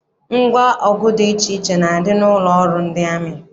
Ngwa ọgụ dị iche iche na-adị n'ụlọ ọrụ ndị amị.